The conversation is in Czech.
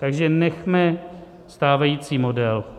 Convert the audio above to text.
Takže nechme stávající model.